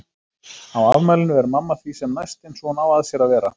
Á afmælinu er mamma því sem næst eins og hún á að sér að vera.